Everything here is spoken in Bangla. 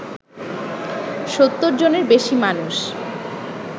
৭০ জনেরও বেশি মানুষ